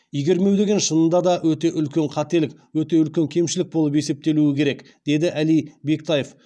игермеу деген шынында да өте үлкен қателік өте үлкен кемшілік болып есептелуі керек деді әли бектаев